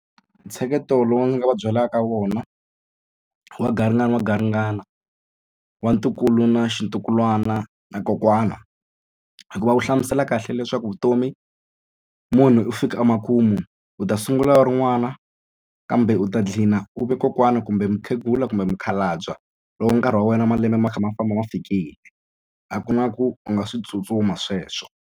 Ntsheketo lowu ndzi nga va byelaka wona wa garingani wa garingani wa ntukulu na swintukulwana na kokwana hikuva wu hlamusela kahle leswaku vutomi munhu u fika emakumu u ta sungula wu ri n'wana kambe u ta gcina u ve kokwana kumbe mukhegula kumbe mukhalabye loko nkarhi wa wena malembe ma kha ma famba ma fikile a ku na ku u nga swi tsutsuma sweswo.